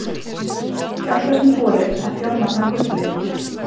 Fjárfestum boðið að fjármagna gullleit